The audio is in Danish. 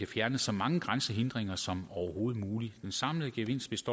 fjerne så mange grænsehindringer som overhovedet muligt den samlede gevinst